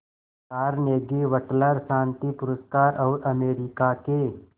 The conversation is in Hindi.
कार्नेगी वटलर शांति पुरस्कार और अमेरिका के